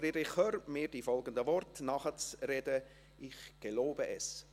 Friederich Hörr fait la promesse.